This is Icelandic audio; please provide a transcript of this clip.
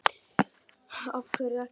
Af hverju ekki